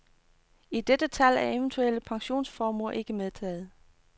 I dette tal er eventuelle pensionsformuer ikke medtaget.